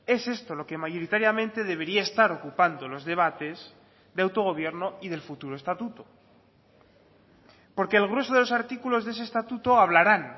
es esto lo que mayoritariamente debería estar ocupando los debates de autogobierno y del futuro estatuto porque el grueso de los artículos de ese estatuto hablaran